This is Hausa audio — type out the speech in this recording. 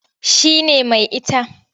Shi ne mai ita.